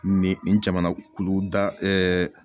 Nin nin jamanakulu da